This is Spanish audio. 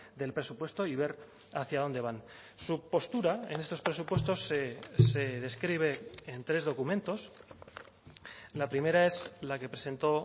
del presupuesto y ver hacia dónde van su postura en estos presupuestos se describe en tres documentos la primera es la que presentó